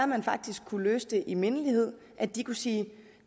man faktisk kunne løse det i mindelighed at de kunne sige